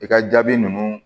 I ka jaabi ninnu